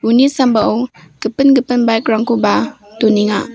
uni sambao gipin gipin bike-rangkoba donenga.